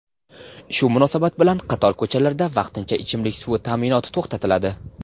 Shu munosabat bilan qator ko‘chalarda vaqtincha ichimlik suvi ta’minoti to‘xtatiladi.